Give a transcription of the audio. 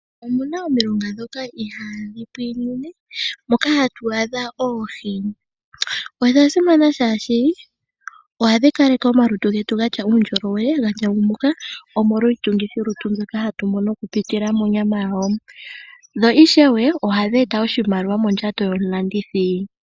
Omuna omilonga dhoka iha dhi pwiinine moka ha tu adha oohi. Odha simana shaashi oha dhi kaleke omalutu getu ga tya uundjolowe ga ndjangumuka, omolwa iitungithilutu mbyoka ha tu mono oku pitila monyama yawo. Dho ishewe oha dhi eta oshinaliwa oku pitila mondjato yomulandithi.